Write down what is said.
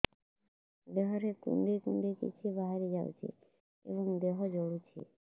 ଦେହରେ କୁଣ୍ଡେଇ କୁଣ୍ଡେଇ କିଛି ବାହାରି ଯାଉଛି ଏବଂ ଦେହ ଜଳୁଛି